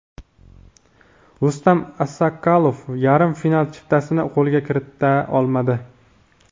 Rustam Assakalov yarim final chiptasini qo‘lga kirita olmadi.